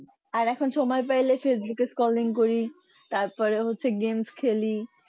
আর এখন সময় পেলে ফেসবুক এ calling করি তারপরে হচ্ছে game খেলি